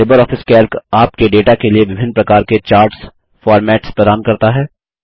Libre office Calc आपके data के लिए विभिन्न प्रकार के चार्ट्स फार्मेट्स प्रदान करता है